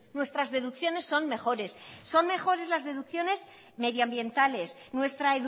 nuestras deducciones son mejores son mejores las deducciones medioambientales nuestra